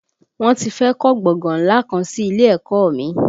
Wọ́n ti fẹ́ kọ́ gbọ̀ngàn ńlá kan sí ilé ẹ̀kọ́ ọ mi